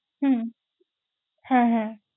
হুম, হ্যাঁ হ্যাঁ।